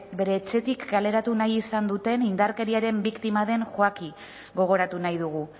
bere etxetik kaleratu nahi izan duten indarkeriaren biktima den joaki gogoratu nahi dugu